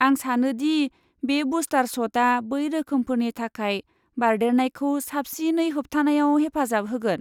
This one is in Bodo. आं सानो दि बे बुस्टार शटआ बै रोखोमफोरनि थाखाय बारदेरनायखौ साबसिनै होबथानायाव हेफाजाब होगोन।